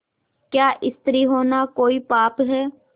क्या स्त्री होना कोई पाप है